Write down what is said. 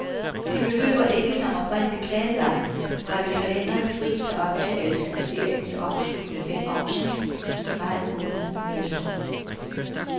De behøver ikke, som oprindeligt planlagt, holde kalenderen fri til optagelse af seriens afsluttende fem afsnit i maj måned næste år.